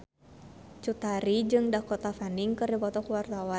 Cut Tari jeung Dakota Fanning keur dipoto ku wartawan